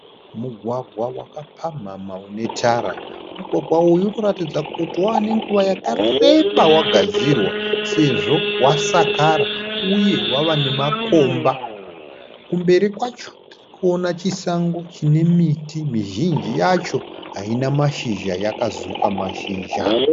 Mugwagwa wakapamhamha une tara. Mugwagwa uyu unoratidza kuti wane nguva yakareba wagadzirwa sezvo wasakara uye wava nemakomba. kumberi kwacho tirikuona chisango chine miti mizhinji yacho haina mashizha yakazuka mashizha.